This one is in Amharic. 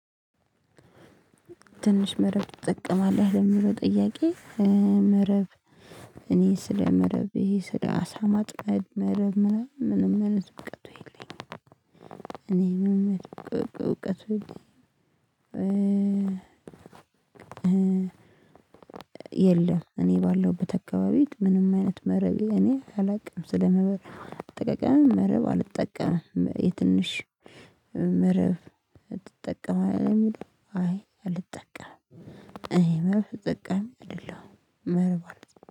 ትንሽ መረብ ትጠቀማለህ ለሚለው ጥያቄ? መረብ እኔ ስለ ስለመረቤ ስለ አሳ ማጥመድ መረብም ምንም አይነት እውቀቱ የለኝም። እኔ ምንም አይነት እውቀቱ የለኝም። የለም እኔ ባለሁበት አካባቢ ምንም አይነት መረብ እኔ አላውቅም ስለመረብ አጠቃቀምም መረብ አልጠቀምም። የትንሽ መረብ ትጠቀማለህ አይ አልጠቀምም። አይ መረብ አልጠቀም አይደለም መረብ አልጠቀምም